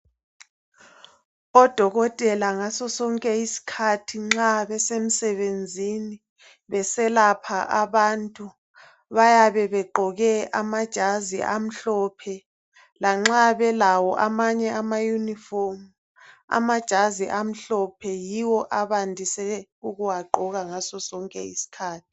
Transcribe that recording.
Odokotela ngaso sonke isikhathi, nxa besemsebenzini , beselapha abantu, bayabe begqoke amajazi amhlophe. Lanxa belawo amanye amauniform, amajazi amhlophe, yiwo abandise ukuwagqoka ngaso sonke isikhathi.